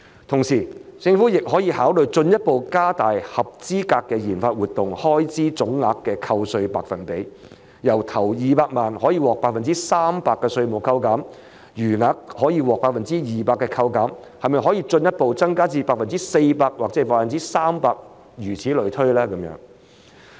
同時，政府亦可考慮進一步加大合資格的研發活動開支總額扣稅百分比，由首200萬元可獲 300% 扣稅，餘額可獲 200% 扣減，可否進一步分別增加至 400% 或 300%？